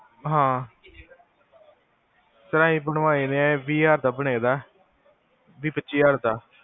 ਹਾਂ ਇਹ ਬਣਵਾਏ ਹੋਏ ਆ ਵੀਹ ਪਚੀ ਹਜਾਰ ਦਾ